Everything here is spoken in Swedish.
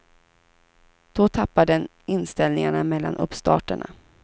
Då tappar den inställningarna mellan uppstarterna.